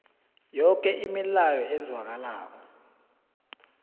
yoke imilayo ezwakalako